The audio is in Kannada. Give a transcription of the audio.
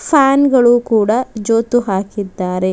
ಫ್ಯಾನ್ ಗಳು ಕೂಡ ಜೋತು ಹಾಕಿದ್ದಾರೆ.